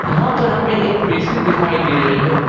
यहां पर हमें एक बेसिन दिखाई दे रही है।